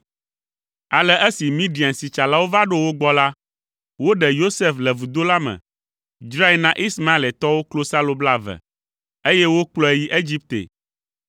Ale esi Midiansitsalawo va ɖo wo gbɔ la, woɖe Yosef le vudo la me, dzrae na Ismaeletɔwo klosalo blaeve, eye wokplɔe yi Egipte.